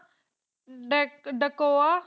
ਡਾਕ ਡਾਕੋਆ